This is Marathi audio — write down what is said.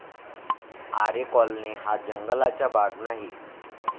आरे कॉलनी हा जंगलाचा भाग नाही.